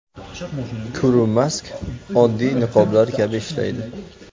Kurumask oddiy niqoblar kabi ishlaydi.